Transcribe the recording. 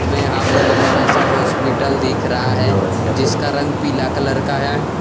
में यहां पर एक बड़ा सा हॉस्पिटल दिख रहा है जिसका रंग पीला कलर का है।